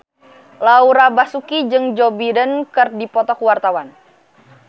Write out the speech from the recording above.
Laura Basuki jeung Joe Biden keur dipoto ku wartawan